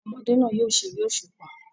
Àwọn ọmọdé náà yóò ṣeré òṣùpá.